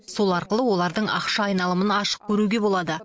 сол арқылы олардың ақша айналымын ашық көруге болады